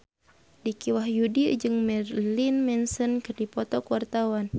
Dicky Wahyudi jeung Marilyn Manson keur dipoto ku wartawan